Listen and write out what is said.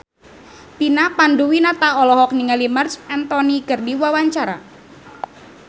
Vina Panduwinata olohok ningali Marc Anthony keur diwawancara